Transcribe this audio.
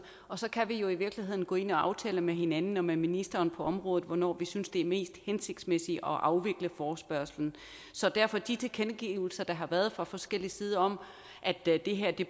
og så kan vi jo i virkeligheden gå ind og aftale med hinanden og med ministeren på området hvornår vi synes det er mest hensigtsmæssigt at afvikle forespørgslen så derfor de tilkendegivelser der har været fra forskellige sider om at det her